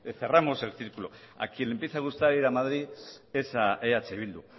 cerramos el círculo a quien le empieza a gustar ir a madrid es a eh bildu